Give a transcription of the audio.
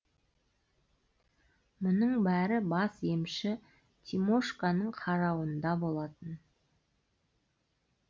мұның бәрі бас емші тимошканың қарауында болатын